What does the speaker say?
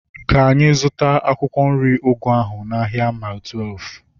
Ka anyị zụta akwụkwọ nri ugu ahu n'ahia Mai Twelfu